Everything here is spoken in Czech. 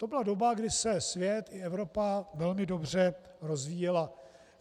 To byla doba, kdy se svět i Evropa velmi dobře rozvíjely.